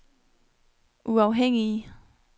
uafhængige